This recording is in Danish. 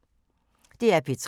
DR P3